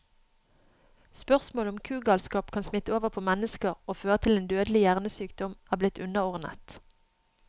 Spørsmålet om kugalskap kan smitte over på mennesker og føre til en dødelig hjernesykdom, er blitt underordnet.